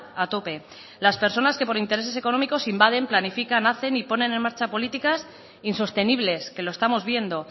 a tope las personas que por intereses económicos invaden planifican hacen y ponen en marcha políticas insostenibles que lo estamos viendo